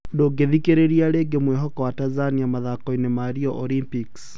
Ndũngĩthikĩrĩria rĩngi mwĩhoko wa Tanzania mathakoinĩ ma Rio Olympics